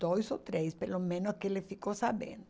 Dois ou três, pelo menos que ele ficou sabendo.